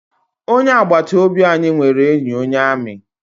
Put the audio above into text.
Onye agbata obi anyị nwere enyi onye amị.